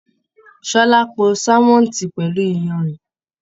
Ṣọlá pò sánmọ́ntì pẹlú iyanrìn.